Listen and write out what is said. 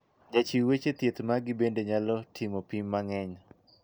Jachiw weche thieth magi bende nyalo timo pim mangeny.